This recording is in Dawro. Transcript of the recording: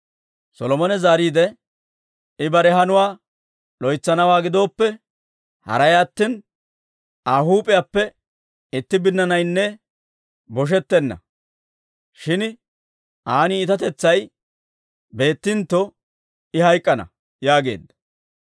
Solomone zaariide, «I bare hanuwaa loytsanawaa gidooppe, haray attina Aa huup'iyaappe itti binnaanaynne boshetenna; shin aan iitatetsay beettintto, I hayk'k'ana» yaageedda.